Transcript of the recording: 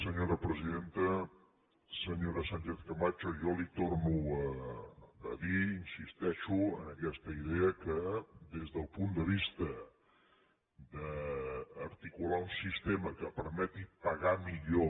senyora sánchez camacho jo li torno a dir insisteixo en aquesta idea que des del punt de vista d’articular un sistema que permeti pagar millor